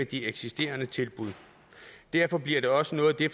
de eksisterende tilbud derfor bliver det også noget af det